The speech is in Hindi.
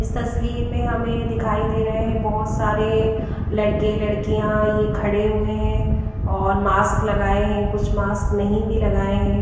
इस तस्वीर में हमें दिखाई दे रहे हैं बहुत सारे लड़के लड़कियां ये खड़े हुए हैं और मास्क लगाए हैं कुछ मास्क नहीं भी लगाए हैं।